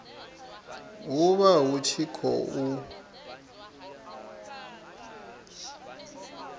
hu vha hu tshi khou